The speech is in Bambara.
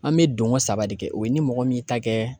An bɛ donko saba de kɛ o ye ni mɔgɔ min y'i ta kɛ